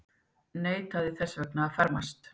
Neitaði þess vegna að fermast.